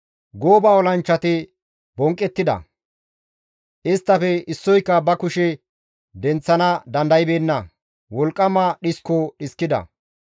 Gooba olanchchati bonqqettida; isttafe issoyka ba kushe denththana dandaybeenna; istti wolqqama dhisko dhiskida.